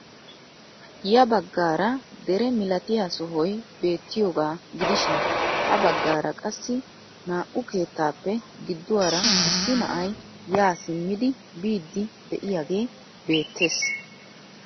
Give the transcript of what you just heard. Ya baggaara dere milatiyaa sohoy beettiyooga gidishin ha baggaara qassi naa"u keettaappe gidduwaara issi na'ay yaa simmidi biidi de'iyaagee beettees.